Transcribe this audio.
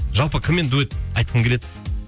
жалпы кіммен дуэт айтқың келеді